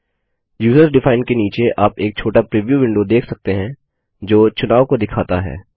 user defined के नीचे आप एक छोटा प्रीव्यू विंडो देख सकते हैं जो चुनाव को दिखाता है